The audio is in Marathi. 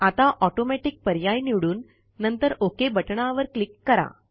आता ऑटोमॅटिक पर्याय निवडून नंतर ओक बटणावर क्लिक करा